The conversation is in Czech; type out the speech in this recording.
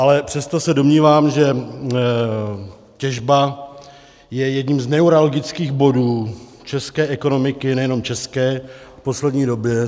Ale přesto se domnívám, že těžba je jedním z neuralgických bodů české ekonomiky, nejenom české, v poslední době.